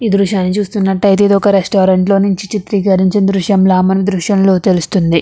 ఈ దృశ్యాన్ని చూస్తున్నట్టయితే ఇది ఒక రెస్టారెంట్లో నుంచి చిత్రీకరించిన దృశ్యంలా మన దృశ్యంలో తెలుస్తుంది.